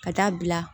Ka taa bila